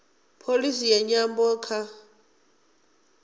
pholisi ya nyambo kha